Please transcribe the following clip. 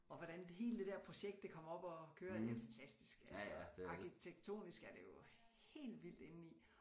Og hvordan hele det der projekt det kom op at køre det er fantastisk altså arkitektonisk er det jo helt vildt indeni